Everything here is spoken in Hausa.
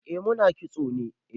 Eh mu na kitso ne.